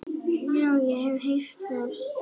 Já, ég hef heyrt það.